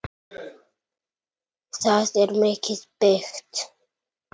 Það er mikið byggt.